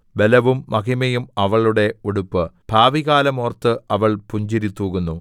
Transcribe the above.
ബലവും മഹിമയും അവളുടെ ഉടുപ്പ് ഭാവികാലം ഓർത്ത് അവൾ പുഞ്ചിരി തൂകുന്നു